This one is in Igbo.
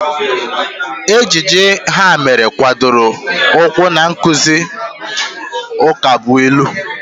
Ejije ha mere gbadoro ụkwụ na nkụzi ukabụilu